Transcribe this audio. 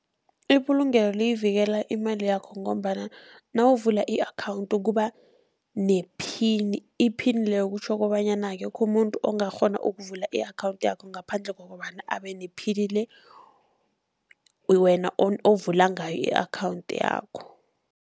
Ibulungelo liyivikela imali yakho, ngombana nawuvula i-account kuba nephini, iphini leyo kutjho kobanyana akekho umuntu ongakghona ukuvula i-account yakho, ngaphandle kokobana abe nephini le wena ovula ngayo i-account yakho.